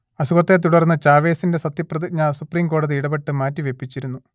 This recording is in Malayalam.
അസുഖത്തെ തുടർന്ന് ചാവെസിന്റെ സത്യപ്രതിജ്ഞ സുപ്രീം കോടതി ഇടപെട്ട് മാറ്റിവെപ്പിച്ചിരുന്നു